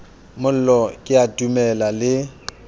mollo ke a dumela le